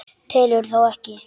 Telurðu þá ekki?